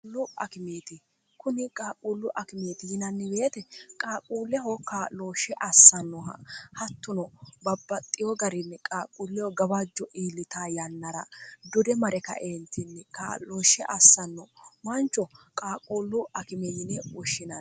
kuni qaaquullu akimeeti yinannibeete qaaquulleho kaa'looshshe assannoha hattuno babbaxxiyo garinni qaaquulleho gabajjo iillita yannara dure mare kaeentinni qaa'looshshe assanno mancho qaaquullu akime yine ushshinn